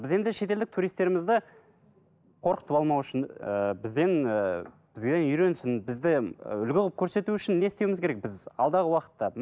біз енді шет елдік туристтерімізді қорқытып алмау үшін ыыы бізден і бізге үйренсін бізді і үлгі алып көрсету үшін не істеуіміз керек біз алдағы уақытта